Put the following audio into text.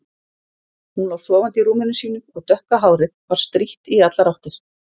Hún lá sofandi í rúminu sínu og dökka hárið var strítt í allar áttir.